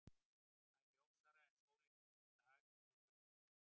Það er ljósara en sólin um miðjan dag að við þurfum hjálp.